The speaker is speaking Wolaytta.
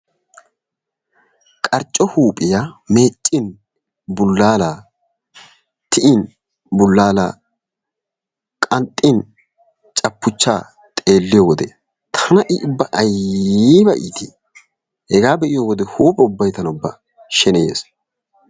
Qarcco huuphiya meecin, bulaalaa tiyin, bulaala qanxxin, caphuchaa xeelliyode tana i ubba ayba iitii? hegaa be'iyo wode huuphe ubbay tana ubba sheneyees.